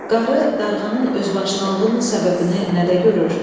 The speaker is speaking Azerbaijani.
Qarı darğanın özbaşınalığının səbəbini nədə görür?